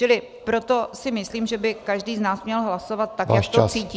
Čili proto si myslím, že by každý z nás měl hlasovat tak, jak to cítí.